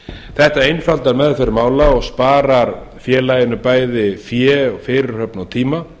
þetta einfaldar meðferð mála og sparar félaginu bæði fé og fyrirhöfn og tíma